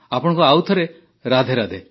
ଆପଣଙ୍କୁ ଆଉଥରେ ରାଧେରାଧେ